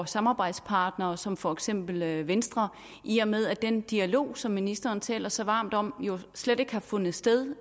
samarbejdspartnere som for eksempel venstre i og med at den dialog som ministeren taler så varmt om jo slet ikke har fundet sted